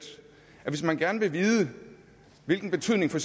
hvis man gerne vil vide hvilken betydning for